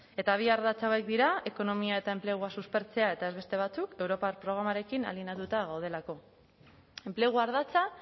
eta bi ardatz hauek dira ekonomia eta enplegua suspertzea eta ez beste batzuk europar programarekin alineatuta gaudelako enplegu ardatza